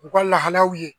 U ka lahalaw ye